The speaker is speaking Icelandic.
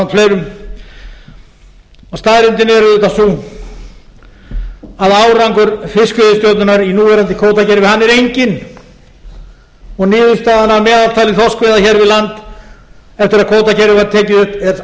ásamt fleirum staðreyndin er auðvitað sú að árangur fiskveiðistjórnar í núverandi kvótakerfi hann er enginn niðurstaðan að meðaltali þorskveiða hér við land eftir að kvótakerfið var tekið upp er